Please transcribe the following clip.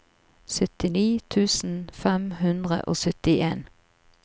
syttini tusen fem hundre og syttien